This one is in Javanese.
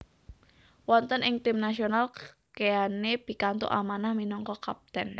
Wonten ing tim nasional Keane pikantuk amanah minangka kapten